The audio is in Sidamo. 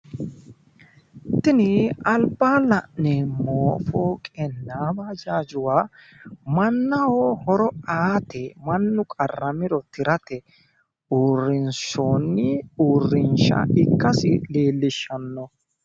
Tini albaanni la'neemmo fooqenna baajaajuwa mannaho horo aate, mannu qarramiro tirate uurinsoonni uurrinshsha ikkasi leellishshanno.